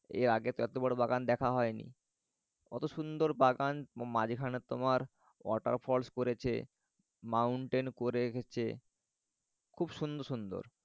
এর আগে তো এত বড় বাগান দেখা হয়নি। অত সুন্দওর বাগান মাঝখানে তোমার water falls করেছে mountain করে রেখেছে খুব সুন্দর সুন্দর।